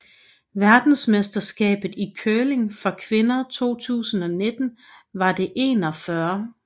Verdensmesterskabet i curling for kvinder 2019 var det 41